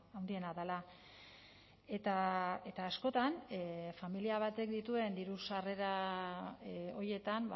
handiena dela eta askotan familia batek dituen diru sarrera horietan